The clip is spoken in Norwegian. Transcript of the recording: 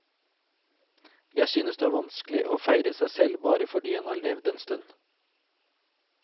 Jeg synes det er vanskelig å feire seg selv bare fordi en har levd en stund.